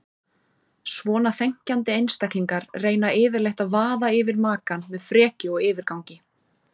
Svona þenkjandi einstaklingar reyna yfirleitt að vaða yfir makann með frekju og yfirgangi.